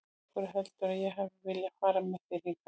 Af hverju heldurðu að ég hafi viljað fara með þér hingað?